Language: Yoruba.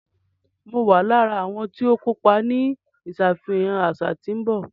Mọ wà lára awọn tìọ kọpà ní ìṣàfihàn aṣa tí n bọ